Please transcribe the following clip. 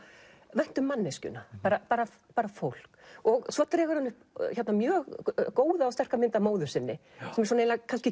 vænt um manneskjuna bara bara bara fólk svo dregur hann upp mjög góða og sterka mynd af móður sinni sem er kannski